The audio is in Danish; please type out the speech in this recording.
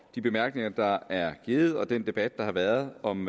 de bemærkninger der er givet og den debat der har været om